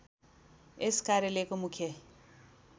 यस कार्यालयको मुख्य